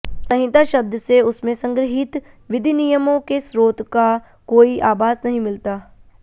संहिता शब्द से उसमें संगृहीत विधिनियमों के स्रोत का कोई आभास नहीं मिलता